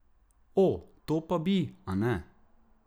O, to pa bi, a ne?